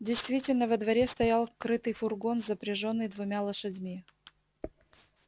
действительно во дворе стоял крытый фургон запряжённый двумя лошадьми